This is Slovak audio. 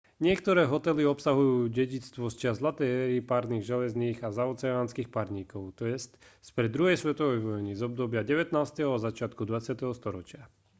niektoré hotely obsahujú dedičstvo z čias zlatej éry parných železníc a zaoceánskych parníkov t j spred druhej svetovej vojny z obdobia 19. a začiatku 20. storočia